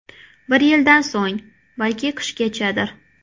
Bir yildan so‘ng, balki qishgachadir.